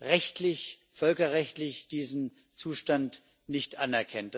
rechtlich, völkerrechtlich diesen Zustand nicht anerkennt.